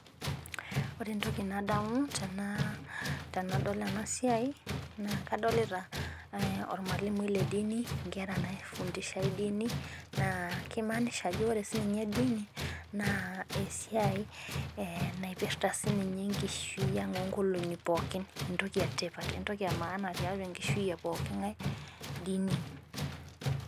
Ore entoki nadamu tenadol ena siai. naa kadolita olmalimui le dink. nkera naifundishae dini. naa kimaanisha ajo ore sii ninye dini. naa esiai, naipirta sii ninye enkishui ang oo nkolong'i pookin. entoki etipat . entoki emaana te nkishui e pooki ng'ae. dini,